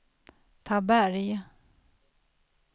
Taberg